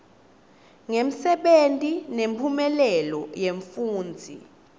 ngemsebenti nemphumelelo yemfundzi